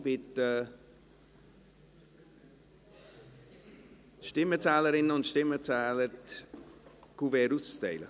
Ich bitte die Stimmenzählerinnen und Stimmenzähler, die Kuverts auszuteilen.